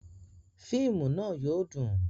Fíìmù náà yóò dùn